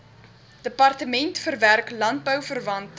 departement verwerk landbouverwante